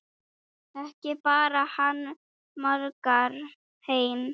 Ekki bar hann margar heim.